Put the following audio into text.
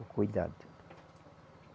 O cuidado.